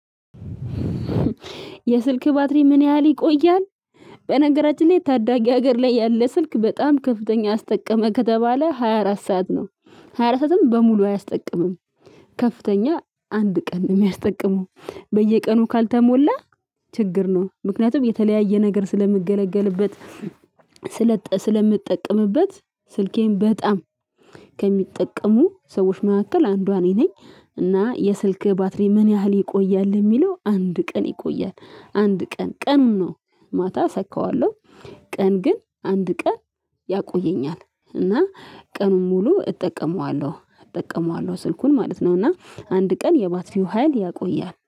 የስልክ ባትሪ ምን ያህል ይቆያል? በነገራችን ላይ ታዳጊ ሀገር ላይ ያለ ስልክ በጣም ከፍተኛ አስጠቀመ ከተባለ ሃያ አራት ሰዓት ነው። ሃያ አራት ሰዓትም በሙሉ አያስጠቅምም። ከፍተኛ አንድ ቀን ነው የሚያስጠቅመው። በየቀኑ ካልተሞላ ችግር ነው። ምክንያቱም የተለያየ ነገር ስለምገለገልበት። ስለምጠቀምበት ስልኬን በጣም ከሚጠቀሙ ሰዎች መካከል አንዷ እኔ ነኝ። እና የስልክ ባትሪ ምን ያህል ይቆያል? የሚለው አንድ ቀን ይቆያል። አንድ ቀን ቀን ነው። ማታ አሰካዋለሁ። ቀን ግን አንድ ቀን ያቆየኛል። እና ቀኑን ሙሉ እጠቀመዋለሁ እጠቀመዋለሁ ስልኩን ማለት ነው። እና አንድ ቀን የባትሪው ሀይል ያቆያል